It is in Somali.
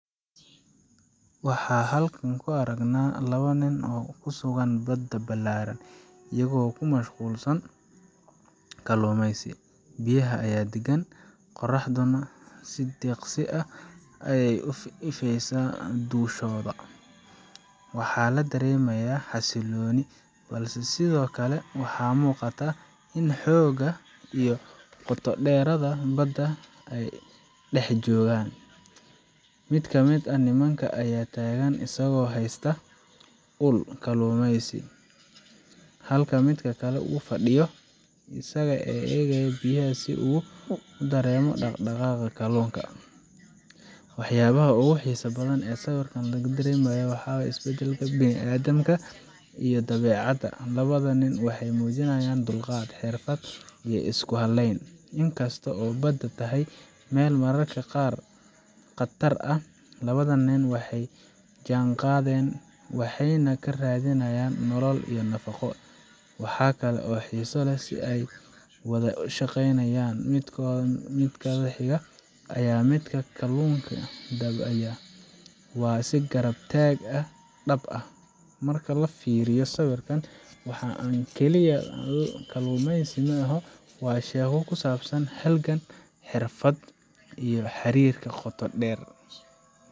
Waxa aan halkan ku aragnaa laba nin oo ku sugan badda ballaaran, iyagoo ku mashquulsan kalluumeysi. Biyaha ayaa deggan, qorraxduna si deeqsi ah ayay u ifaysaa dushooda. Waxaa la dareemayaa xasilooni, balse sidoo kale waxaa muuqata xoogga iyo qoto dheeraanta badda ay dhex joogaan. Mid ka mid ah nimanka ayaa taagan isagoo haysta ul kalluumaysi, halka midka kale uu fadhiyo, isaga oo eegaya biyaha si uu u dareemo dhaqdhaqaaq kalluunka. Waxyaabaha ugu xiisaha badan ee sawirkan laga dareemayo waa isdhexgalka bini’aadamka iyo dabeecadda labada nin waxay muujiyeen dulqaad, xirfad, iyo isku halayn. Inkastoo ay badda tahay meel mararka qaar khatar ah, labadan nin waxay la jaanqaadeen, waxayna ka raadinayaan nolol iyo nafaqo. Waxaa kale oo xiiso leh sida ay u wada shaqaynayaan midkoodka xadhigga haya iyo midka kalluunka dabaya, waa is garab taag dhab ah. Marka la fiiriyo sawirka, waxaa an keliya kalluumaysi maahan waa sheeko ku saabsan halgan, xariifnimo, iyo xiriirka qoto dheer.